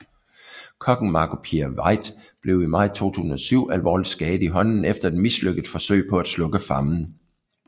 Kokken Marco Pierre White blev i maj 2007 alvorligt skadet i hånden efter et mislykket forsøg på at slukke flammen